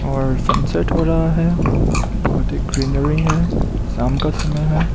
और सनसेट हो रहा है बहोत ही ग्रीनरी है शाम का समय है।